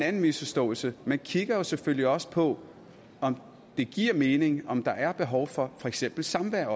anden misforståelse man kigger selvfølgelig også på om det giver mening om der er behov for for eksempel samvær